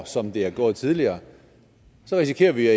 som det er gået tidligere risikerer vi